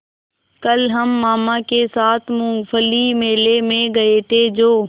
कल हम मामा के साथ मूँगफली मेले में गए थे जो